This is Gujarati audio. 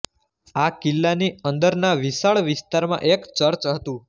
આ કિલ્લાની અંદરના વિશાળ વિસ્તારમાં એક ચર્ચ હતું